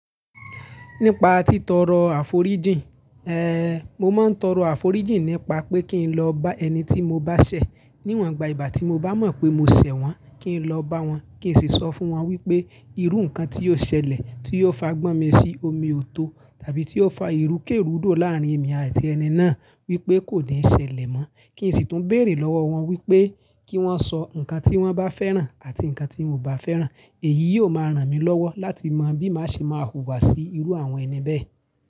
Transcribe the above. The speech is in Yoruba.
Nípa titọrọ àforíjìn, eh mo máa ń tọrọ àforíjìn nípa pé kí n lọ bá ẹni tí mo bá ṣẹ̀ níwọ̀nba ìgbà tí mo bá mọ̀ pé mo ṣẹ̀ wọ́n, kí n lọ bá wọn kí n sì sọ fún wọn wípé irú ǹkan tí ò ṣẹlẹ̀ tí ò fa gbọ́n mi sí omi ò tó tàbí tí ò fa ìrúkèrúdò láàrin èmi àti ẹni náà wípé kò ní ṣẹlẹ̀ mọ́. Kí n sì tún béèrè lọ́wọ́ wọn wípé kí wọ́n sọ ǹkan tí wọ́n bá fẹ́ràn àti ǹkan tí wọ́n ò bá fẹ́ràn èyí yóò máa ràn mí lọ́wọ́ láti mọ̀ bí màá ṣe máa wùwà sí irú àwọn ẹni bẹ́ẹ̀